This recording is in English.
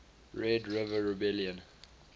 red river rebellion